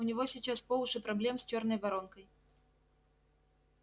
у него сейчас по уши проблем с чёрной воронкой